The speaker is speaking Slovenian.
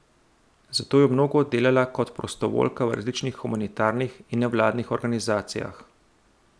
Zato je mnogo delala kot prostovoljka v različnih humanitarnih in nevladnih organizacijah.